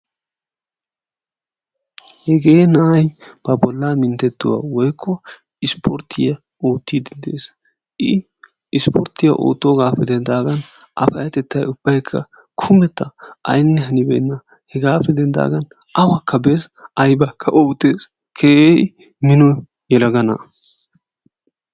Hegee na'ay ba bollaa minttettuwa/isipporttiya oottiiddi de'ees. I isipporttiya oottoogaappe denddaagan A bollaa payyatettay kumetta aynne hanibeenna. Hegaappe denddaagan awakka bees aybaakka oottees. Keehi mino yelaga na'a.